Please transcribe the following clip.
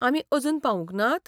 आमी अजून पावूंक नात?